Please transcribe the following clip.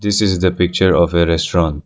This is the picture of a restaurant.